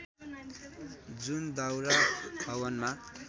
जुन दाउरा हवनमा